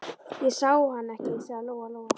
Ég sá hann ekki, sagði Lóa Lóa.